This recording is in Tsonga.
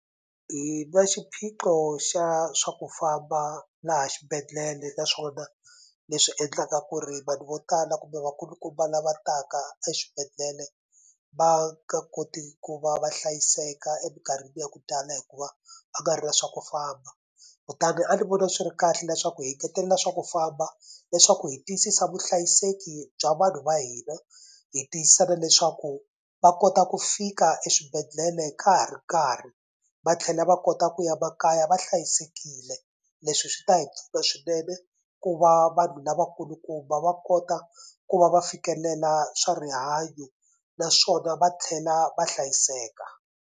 Hi na xiphiqo xa swa ku famba laha xibedhlele naswona leswi endlaka ku ri vanhu vo tala kumbe vakulukumba lava taka exibedhlele va nga koti ku va va hlayiseka emikarhini ya ku tala hikuva va karhi na swa ku famba kutani a ni voni swi ri kahle leswaku hi ngetelela swa ku famba leswaku hi tiyisisa vuhlayiseki bya vanhu va hina hi tiyisisa na leswaku va kota ku fika eswibedhlele ka ha ri karhi va tlhela va kota ku ya makaya va hlayisekile leswi swi ta hi pfuna swinene ku va vanhu lavakulukumba va kota ku va va fikelela swa rihanyo naswona va tlhela va hlayiseka.